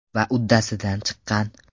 Va uddasidan chiqqan.